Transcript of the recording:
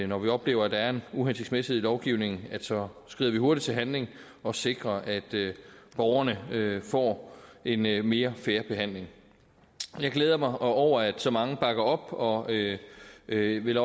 når vi oplever at der er en uhensigtsmæssighed i lovgivningen så skrider vi hurtigt til handling og sikrer at borgerne får en mere mere fair behandling jeg glæder mig over at så mange bakker op og vil vil